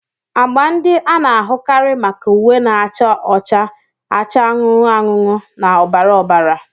Agba ndị a na-ahụkarị maka uwe na-acha ọcha, acha anụnụ anụnụ na ọbara ọbara.